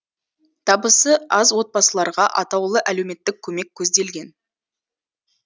табысы аз отбасыларға атаулы әлеуметтік көмек көзделген